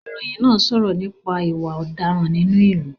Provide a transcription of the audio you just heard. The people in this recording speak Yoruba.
Ìròyìn náà ń sọ̀rọ̀ nípa ìwà ọ̀daràn nínú ìlú